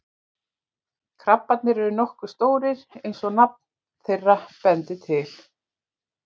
Krabbarnir eru nokkuð stórir eins og nafn þeirra bendir til.